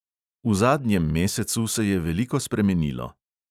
V zadnjem mesecu se je veliko spremenilo.